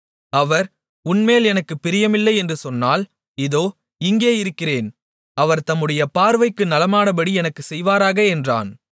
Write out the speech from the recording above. அவர் உன்மேல் எனக்குப் பிரியமில்லை என்று சொன்னால் இதோ இங்கே இருக்கிறேன் அவர் தம்முடைய பார்வைக்கு நலமானபடி எனக்குச் செய்வாராக என்றான்